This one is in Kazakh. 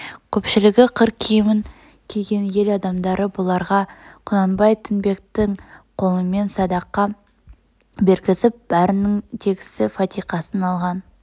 көпшілгі қыр киімн киген ел адамдары бұларға құнанбай тінбектің қолымен садақа бергізіп бәрнің тегсі фатиқасын алған